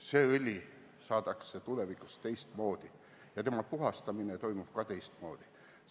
See õli saadakse tulevikus teistmoodi ja selle puhastamine toimub ka teistmoodi.